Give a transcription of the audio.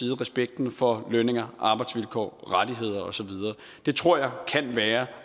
respekten for løn og arbejdsvilkår rettigheder og så videre det tror jeg kan være